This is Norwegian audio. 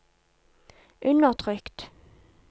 undertrykt